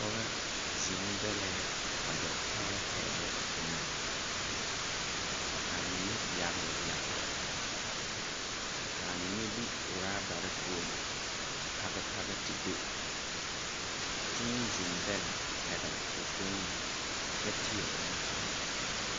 Pɔgɔ zeng delɛɛ waje tɛɛ tɛɛ iri enga ka mene yagle yagle kaa mene bi rubare puo a pag pag te do kyuu zeng dele pɛgli ɔ fooni kye teẽ ɔ nu kanga.